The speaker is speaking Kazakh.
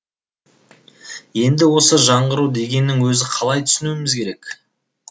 енді осы жаңғыру дегеннің өзін қалай түсінуіміз керек